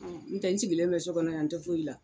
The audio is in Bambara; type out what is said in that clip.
n tɛ n sigilen bɛ sokɔnɔ yan n tɛ foyi la.